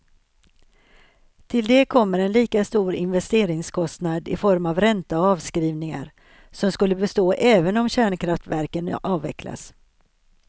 Till det kommer en lika stor investeringskostnad i form av ränta och avskrivningar, som skulle bestå även om kärnkraftverken avvecklas.